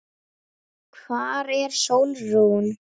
Hvar er Sólrún?